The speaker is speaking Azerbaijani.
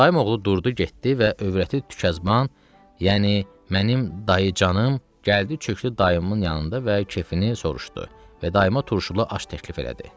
Dayım oğlu durdu getdi və övrəti Tükyazban, yəni mənim dayıcanım gəldi çökdü dayımın yanında və keyfini soruşdu və dayıma turşulu aş təklif elədi.